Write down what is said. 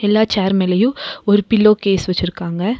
எல்லா சேர் மேலயு ஒரு பில்லோ கேஸ் வெச்சிருக்காங்க.